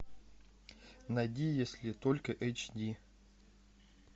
найди если только эйч ди